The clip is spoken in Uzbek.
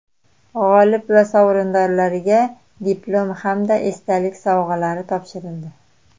G‘olib va sovrindorlarga diplom hamda esdalik sovg‘alari topshirildi.